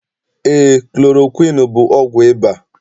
Eé, klorokwiini bụ ọgwụ ịba.